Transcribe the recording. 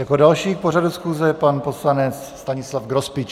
Jako další k pořadu schůze pan poslanec Stanislav Grospič.